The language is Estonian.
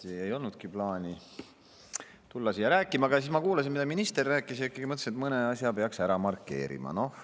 Esiti ei olnudki plaani tulla siia rääkima, aga siis ma kuulasin, mida minister rääkis, ja mõtlesin, et mõne asja peaks ikkagi ära markeerima.